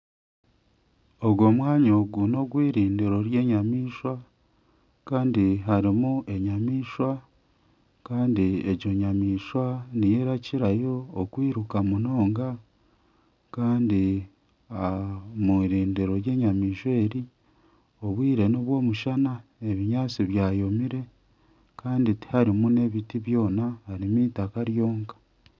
Ogu omwanya ogu nogw'irindiiro ry'enyamaishwa kandi harimu enyamaishwa kandi egi nyamaishwa niyo erikukirayo kwiruka munonga kandi omw'irindiiro ry'enyamaishwa eri obwire nobw'omushana ebinyaatsi byomire kandi tiharimu n"ebiti byona harimu eitaaka ryonka.